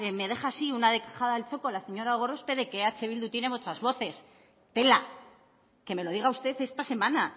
me dejas una dejada al txoko la señora gorospe de que eh bildu tiene muchas voces tela que me lo diga usted esta semana